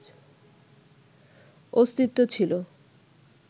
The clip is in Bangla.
অস্তিত্ব ছিল